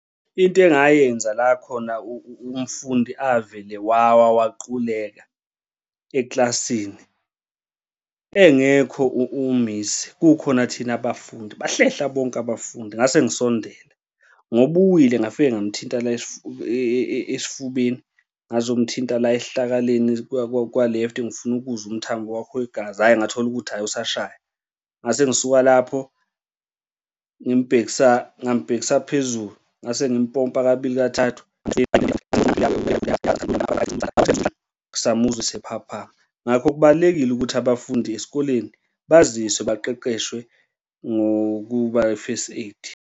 Into engayenza la khona umfundi avele wawa waquleka ekilasini engekho umisi, kukhona thina abafundi bahlehla bonke abafundi, ngase ngisondela ngoba uwile ngafike ngamthinta la esifubeni, ngazomthinta la esihlakaleni kwa-left ngifuna ukuzwa umthambo wakhe wegazi, hhayi, ngathola ukuth, hhayi, usashaya. Ngase ngisuka lapho ngimubhekisa, ngambhekisa phezulu ngase ngimpompa kabili kathathu samuzwa esephaphama. Ngakho kubalulekile ukuthi abafundi esikoleni baziswe baqeqeshwe ngokuba i-first aid.